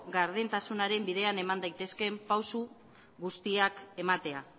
gardentasunaren bidean eman daitezkeen pausu guztiak ematea